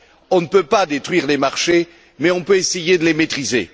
On ne peut pas détruire les marchés mais on peut essayer de les maîtriser.